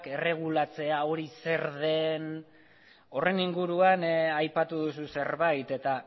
erregulatzea hori zer den horren inguruan aipatu duzu zerbait eta